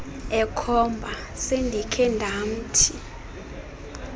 ekhomba sendikhe ndamthi